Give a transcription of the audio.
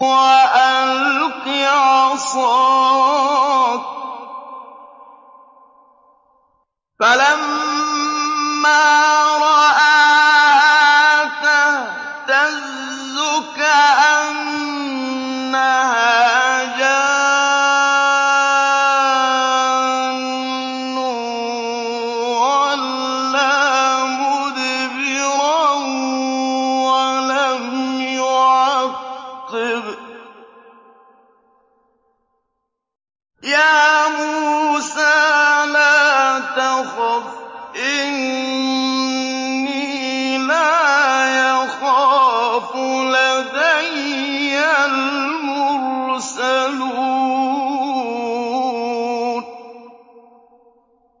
وَأَلْقِ عَصَاكَ ۚ فَلَمَّا رَآهَا تَهْتَزُّ كَأَنَّهَا جَانٌّ وَلَّىٰ مُدْبِرًا وَلَمْ يُعَقِّبْ ۚ يَا مُوسَىٰ لَا تَخَفْ إِنِّي لَا يَخَافُ لَدَيَّ الْمُرْسَلُونَ